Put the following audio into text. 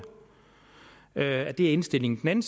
er indstillingen en